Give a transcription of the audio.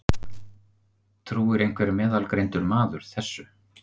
Trúir einhver meðalgreindur maður þessu?